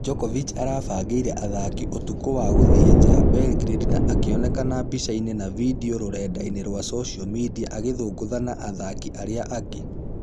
Djokovic arabangĩire athaki ũtukũ wa gũthie ja belgrade na akĩoneka mbicainĩ na video rũrendainĩ rwa social media agĩthũngũtha na athakinarĩa angĩ .....